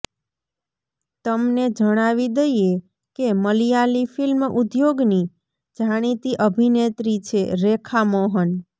તમને જણાવી દઇએ કે મલયાલી ફિલ્મ ઉદ્યોગની જાણીતી અભિનેત્રી છે રેખા મોહન